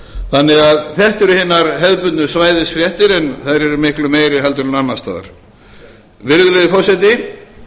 þannig að þetta eru hinar hefðbundnu svæðisfréttir en þær eru miklu meiri heldur en annars staðar virðulegi forseti